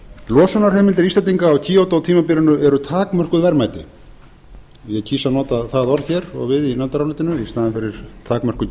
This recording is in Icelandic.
losunarheimildir íslendinga á kyoto tímabilinu eru takmörkuð verðmæti ég kýs að nota það orð hér og við í nefndarálitinu í staðinn fyrir takmörkuð